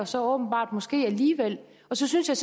så åbenbart måske alligevel og så synes jeg